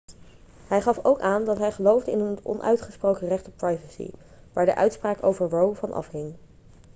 hij gaf ook aan dat hij geloofde in het onuitgesproken recht op privacy waar de uitspraak over roe van afhing